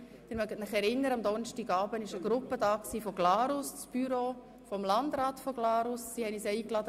Am Donnerstagabend besuchte uns das Büro des Landrats des Kantons Glarus.